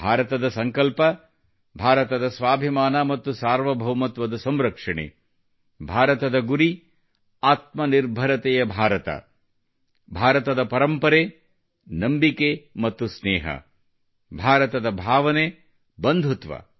ಭಾರತದ ಸಂಕಲ್ಪ ಭಾರತದ ಸ್ವಾಭಿಮಾನ ಮತ್ತು ಸಾರ್ವಭೌಮತ್ವದ ಸಂರಕ್ಷಣೆ ಭಾರತದ ಗುರಿ ಆತ್ಮನಿರ್ಭರತೆಯ ಭಾರತ ಭಾರತದ ಪರಂಪರೆ ನಂಬಿಕೆ ಮತ್ತು ಸ್ನೇಹ ಭಾರತದ ಭಾವನೆ ಬಂಧುತ್ವ